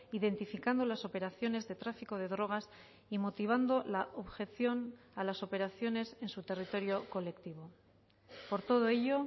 identificando las operaciones de tráfico de drogas y motivando la objeción a las operaciones en su territorio colectivo por todo ello